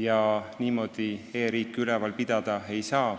ja niimoodi e-riiki üleval pidada ei saa.